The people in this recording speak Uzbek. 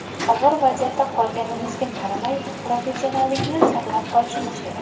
Og‘ir vaziyatda qolganimizga qaramay, professionallikni saqlab qolishimiz kerak.